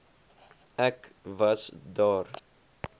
ek was daar